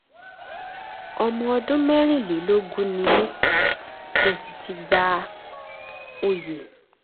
ọmọ ọdún mẹ́rìnlélógún ni mí mo sì ti gba oyè m